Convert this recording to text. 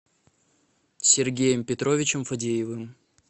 сергеем петровичем фадеевым